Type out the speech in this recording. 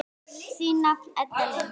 Þín nafna Edda Lind.